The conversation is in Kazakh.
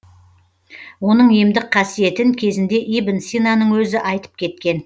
оның емдік қасиетін кезінде ибн синаның өзі айтып кеткен